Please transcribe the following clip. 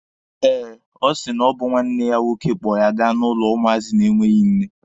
Eh, ọ sị na ọ bụ nwanne ya nwoke kpọ ya ga n'ụlọ ụmụazị na-enweghi nne.